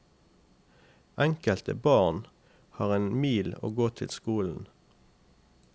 Enkelte barn har en mil å gå til skolen.